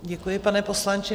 Děkuji, pane poslanče.